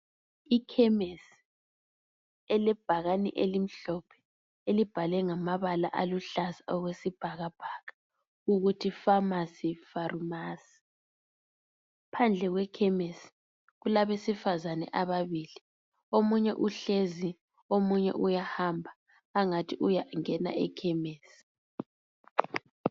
Ikhemesi elebhakani elimhlophe elibhalwe ngamabala aluhlaza okwesibhakabhaka ukuthi famasi farumasi. Phandle kwekhemisi kulabesifazane ababili, omunye uhlezi omunye uyahamba angathi uyangena ekhemisi.